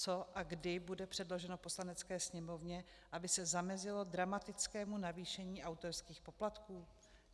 Co a kdy bude předloženo Poslanecké sněmovně, aby se zamezilo dramatickému zamezení autorských poplatků?